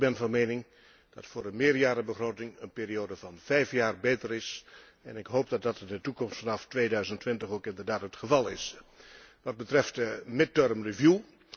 Ik ben van mening dat voor een meerjarenbegroting een periode van vijf jaar beter is en ik hoop dat dat in de toekomst vanaf 2020 ook inderdaad het geval zal zijn Wat betreft de tussentijdse herziening.